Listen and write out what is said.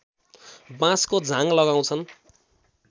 बाँसको झाङ लगाउँछन्